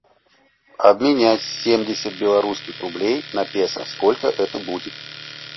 обменять семьдесят белорусских рублей на песо сколько это будет